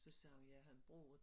Så sagde hun jeg havde boet